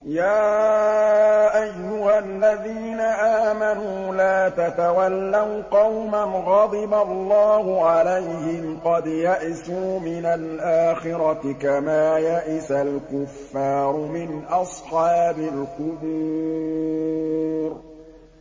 يَا أَيُّهَا الَّذِينَ آمَنُوا لَا تَتَوَلَّوْا قَوْمًا غَضِبَ اللَّهُ عَلَيْهِمْ قَدْ يَئِسُوا مِنَ الْآخِرَةِ كَمَا يَئِسَ الْكُفَّارُ مِنْ أَصْحَابِ الْقُبُورِ